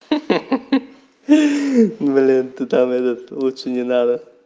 ха-ха блин ты там этот лучше не надо